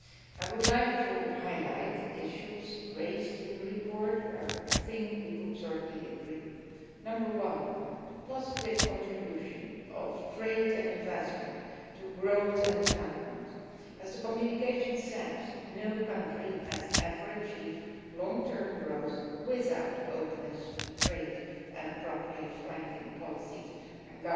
I would like to highlight issues raised in the report where I think we could certainly agree. Number one the positive contribution of trade and investment to growth and development. As the communication says, no country has ever achieved long term growth without openness to trade and appropriate flanking policies and